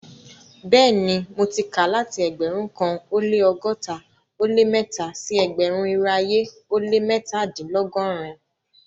Bẹẹni, mo ti ká láti ẹgbérùn kan o lẹ́ ọgọ́ta o lẹ́ mẹ́tà sí ẹgbérùn-irò ayé o lẹ́ mẹ́tàdìnlọ́gọ́rìn-un.